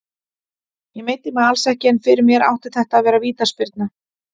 Ég meiddi mig alls ekki, en fyrir mér átti þetta að vera vítaspyrna.